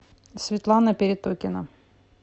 светлана перетокина